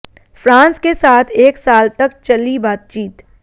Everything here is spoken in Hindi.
फ्रांस के साथ एक साल तक चली बातचीत